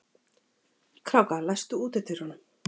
Kráka, læstu útidyrunum.